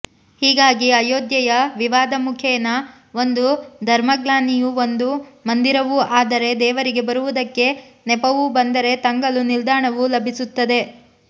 ಹೀಗಾಗಿ ಅಯೋಧ್ಯೆಯ ವಿವಾದಮುಖೇನ ಒಂದು ಧರ್ಮಗ್ಲಾನಿಯೂ ಒಂದು ಮಂದಿರವೂ ಆದರೆ ದೇವರಿಗೆ ಬರುವುದಕ್ಕೆ ನೆಪವೂ ಬಂದರೆ ತಂಗಲು ನಿಲ್ದಾಣವೂ ಲಭಿಸುತ್ತದೆ